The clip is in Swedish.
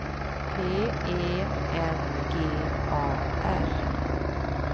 P E N G A R